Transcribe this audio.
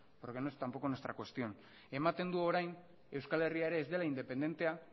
porque no es tampoco nuestra cuestión ematen du orain euskal herria ere ez dela independentea